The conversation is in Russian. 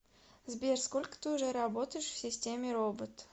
сбер сколько ты уже работаешь в системе робот